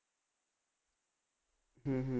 ਹੂੰ ਹੂੰ